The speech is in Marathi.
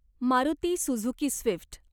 Maruti Suzuki Swift.